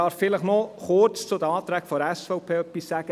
Ich möchte noch kurz etwas zu den Anträgen der SVP sagen.